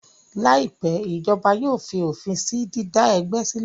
Láìpẹ́, ìjọba yóò fi òfin sí dídá ẹgbẹ́ sílẹ̀